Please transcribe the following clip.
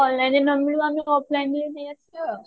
online ରେ ନମିଳିବ ଆମେ offline ରେ ନେଇ ଆସିବା ଆଉ